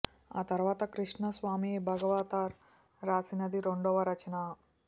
ఆ తరువాత కృష్ణ స్వామి భాగవతార్ రాసినది రెండవ రచన